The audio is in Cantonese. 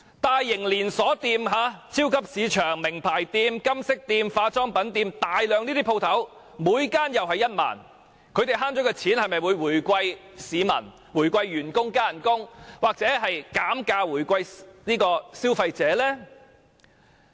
大型連鎖店、超級市場、名牌店、金飾店及化妝品店等店鋪，每間又免差餉1萬元，業主所節省的金錢會否回饋市民、回饋員工，增加工資，或減價回饋消費者呢？